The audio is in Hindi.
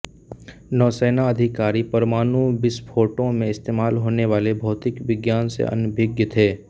नौसैना अधिकारी परमाणु विस्फोटों में इस्तेमाल होने वाले भौतिक विज्ञान से अनभिज्ञ थे